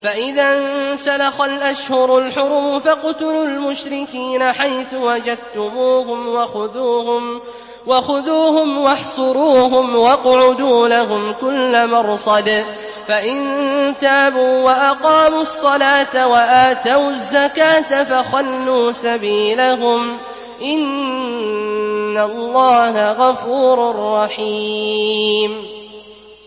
فَإِذَا انسَلَخَ الْأَشْهُرُ الْحُرُمُ فَاقْتُلُوا الْمُشْرِكِينَ حَيْثُ وَجَدتُّمُوهُمْ وَخُذُوهُمْ وَاحْصُرُوهُمْ وَاقْعُدُوا لَهُمْ كُلَّ مَرْصَدٍ ۚ فَإِن تَابُوا وَأَقَامُوا الصَّلَاةَ وَآتَوُا الزَّكَاةَ فَخَلُّوا سَبِيلَهُمْ ۚ إِنَّ اللَّهَ غَفُورٌ رَّحِيمٌ